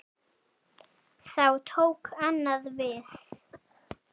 Þá tók annað við.